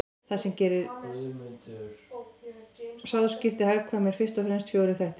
Það sem gerir sáðskipti hagkvæm eru fyrst og fremst fjórir þættir.